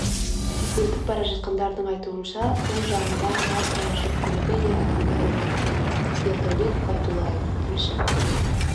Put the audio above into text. өтіп бара жатқандардың айтуынша сол жағында маркалы жүк көлігі ер адамды іліп кеткен ердәулет байдуллаев тілші